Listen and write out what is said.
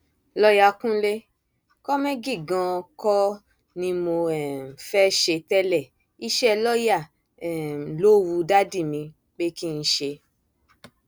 lọọyà kúnlẹ kómẹgì ganan kọ ni mo um fẹẹ ṣe tẹlẹ iṣẹ lọọyà um ló wu dádì mi pé kí n ṣe